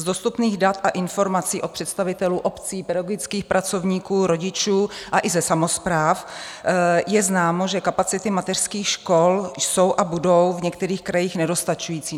Z dostupných dat a informací od představitelů obcí, pedagogických pracovníků, rodičů a i ze samospráv je známo, že kapacity mateřských škol jsou a budou v některých krajích nedostačující.